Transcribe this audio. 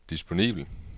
disponibel